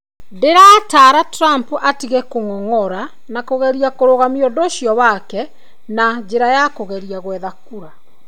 ... Ndĩrataara Trump atige kũng'ong'ora na kũgerie kũrũgamia ũndũ ũcio wake na njĩra ya kũgeria gwetha kura.